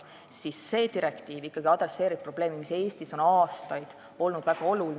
Täna käsitletav direktiiv aga peab silmas probleemi, mis Eestis on aastaid olnud väga suur.